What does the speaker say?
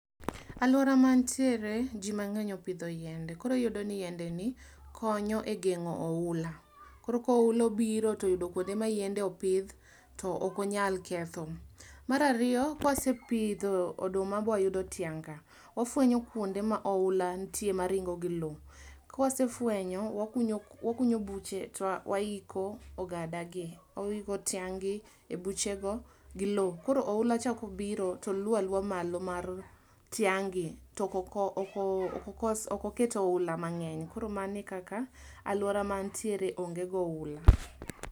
Alwora ma natiere ji mang'eny opidho yiende koro iyudo ni yiende ni konyo e geng'o oula, koro koula obiro toyudo kuonde ma yiende opidh to ok onyal ketho. Mar ariyo, kwase pidho oduma bwa yudo tiang' ka, wafwenyo kuonde ma oula nitie ma ringo gi loo. Kwasefwenyo, wakunyo wakunyo buche to waiko ogada gi, waiko tiang' gi e buchego gi loo. Koro oula cha ka obiro, to luwo aluwa malo mar tiang' gi, to oko okos okoket oula mang'eny. Koro mano e kaka alwora ma antiere onge go oula.